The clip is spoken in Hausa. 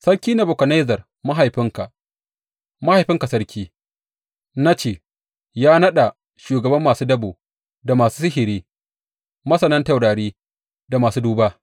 Sarki Nebukadnezzar mahaifinka, mahaifinka sarki, na ce, ya naɗa shugaban masu dabo, da masu sihiri, masanan taurari da kuma masu duba.